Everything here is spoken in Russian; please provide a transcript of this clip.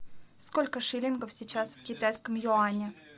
сколько шиллингов сейчас в китайском юане